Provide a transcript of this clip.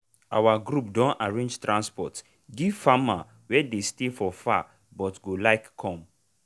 our group don arrange transport give farmer wey dey stay for far but go like come.